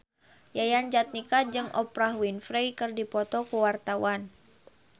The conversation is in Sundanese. Yayan Jatnika jeung Oprah Winfrey keur dipoto ku wartawan